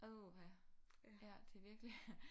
Åh ja det er virkelig